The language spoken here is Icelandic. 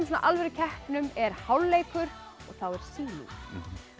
svona alvörukeppnum er hálfleikur og þá er sýning